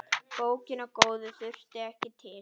Bókina góðu þurfti ekki til.